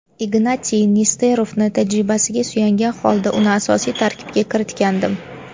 Ignatiy Nesterovni tajribasiga suyangan holda uni asosiy tarkibga kiritgandim.